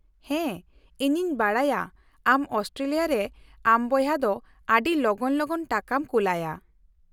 -ᱦᱮᱸ, ᱤᱧᱤᱧ ᱵᱟᱰᱟᱭᱟ ᱟᱢ ᱚᱥᱴᱨᱮᱞᱤᱭᱟ ᱨᱮ ᱟᱢ ᱵᱚᱭᱦᱟ ᱫᱚ ᱟᱹᱰᱤ ᱞᱚᱜᱚᱱ ᱞᱚᱜᱚᱱ ᱴᱟᱠᱟᱢ ᱠᱩᱞᱟᱭᱟ ᱾